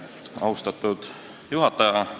Austatud juhataja!